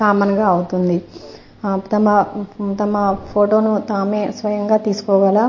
common గా అవుతుంది తమ తమ ఫోటోను తమే స్వయంగా తీసుకోగల --